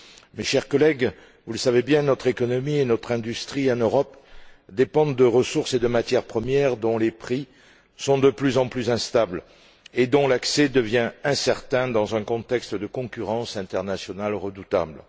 Mes chers collègues, vous le savez bien, notre économie et notre industrie en Europe dépendent de ressources et de matières premières, dont les prix sont de plus en plus instables et dont l'accès devient incertain, dans un contexte de concurrence internationale redoutable.